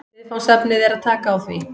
Viðfangsefnið er að taka á því